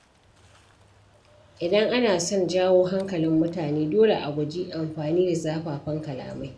Idan ana son jawo hankalin mutane, dole a guji amfani da zafafan kalamai.